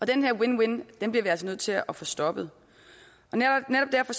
den her win win bliver vi altså nødt til at få stoppet netop derfor